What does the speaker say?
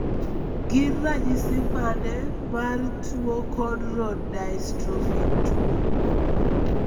Gin ranyisi mane mar tuo Cone rod dystrophy 2?